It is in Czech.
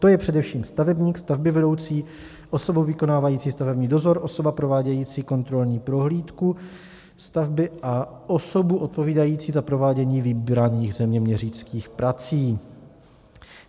To je především stavebník, stavbyvedoucí, osoba vykonávající stavební dozor, osoba provádějící kontrolní prohlídku stavby a osoba odpovídající za provádění vybraných zeměměřických prací.